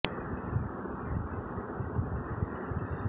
বহু কৃতী বাঙালি চলে গেছেন দুনিয়া ছেড়ে হিমাদ্রি সরকার